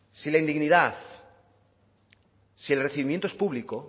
si la indignidad si el recibimiento es público